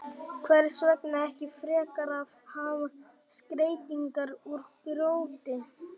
Hvers vegna ekki frekar að hafa skreytingar úr grjóti, snjó og klaka?